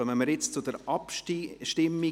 Wir kommen jetzt zur Abstimmung: